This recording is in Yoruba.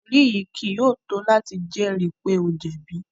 Ẹri yii kii yóò to lati jẹri pe o jẹbi